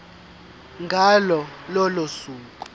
ngalo lolo suku